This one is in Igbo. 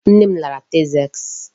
Nne m lara Texas.